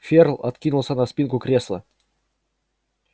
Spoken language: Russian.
ферл откинулся на спинку кресла